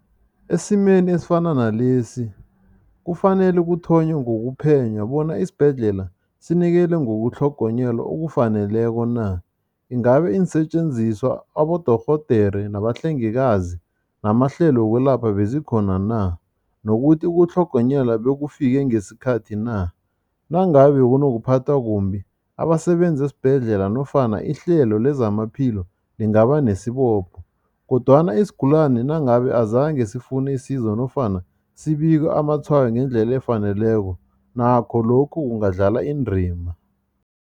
Esimeni esifana nalesi, kufanele kuthonywe ngokuphenya bona isibhedlela sinikele ngokutlhogonyelwa okufaneleko na. Ingabe iinsetjenziswa, abodorhodere nabahlengikazi, namahlelo wokwelapha bezikhona na? Nokuthi ukutlhogonyelwa bekufike ngesikhathi na. Nangabe bekunokuphathwa kumbi, abasebenzi esibhedlela nofana ihlelo lezamaphilo lingaba nesibopho kodwana isigulani nangabe azange sifune isizo nofana sibike amatshwayo ngendlela efaneleko, nakho lokhu kungadlala indima.